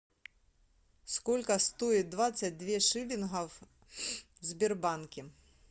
сколько стоит двадцать две шиллингов в сбербанке